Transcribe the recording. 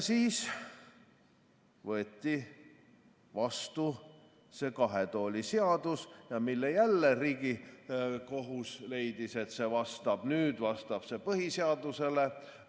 Siis võeti vastu see kahe tooli seadus, mille puhul jälle Riigikohus leidis, et see vastab nüüd põhiseadusele.